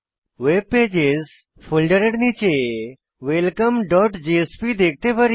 ভেব pages ফোল্ডারের নীচে welcomeজেএসপি দেখতে পারি